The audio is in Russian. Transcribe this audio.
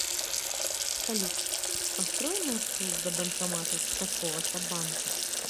салют построй маршрут до банкомата такого то банка